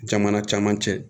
Jamana caman cɛ